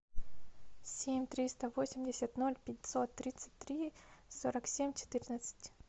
семь триста восемьдесят ноль пятьсот тридцать три сорок семь четырнадцать